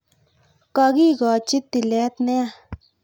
Kokikochi tilet nea